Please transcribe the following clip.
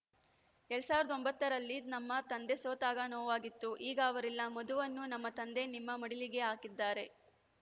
ಎರಡ್ ಸಾವಿರದ ಒಂಬತ್ತರಲ್ಲಿ ನಮ್ಮ ತಂದೆ ಸೋತಾಗ ನೋವಾಗಿತ್ತು ಈಗ ಅವರಿಲ್ಲ ಮಧುವನ್ನು ನಮ್ಮ ತಂದೆ ನಿಮ್ಮ ಮಡಿಲಿಗೆ ಹಾಕಿದ್ದಾರೆ